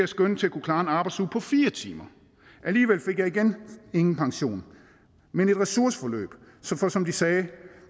skønnet til at kunne klare en arbejdsuge på fire timer alligevel fik jeg igen ingen pension men et ressourceforløb for som de sagde